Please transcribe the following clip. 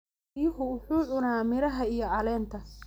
Riyuhu wuxuu cunaa miraha iyo caleenta.